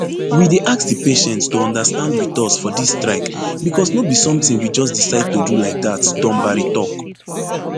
we dey ask di patients to understand wit us for dis strike becos no be somtin we just decide to do like dat dumbari tok